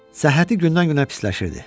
Səhhəti gündən-günə pisləşirdi.